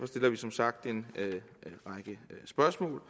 stiller vi som sagt en række spørgsmål